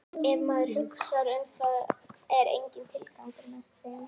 Ef maður hugsar um það er enginn tilgangur með þeim.